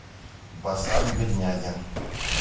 басан беднягин